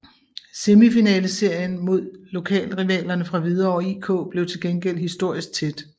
Semifinaleserien mod lokalrivalerne fra Hvidovre IK blev til gengæld historisk tæt